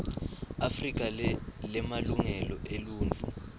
afrika lemalungelo eluntfu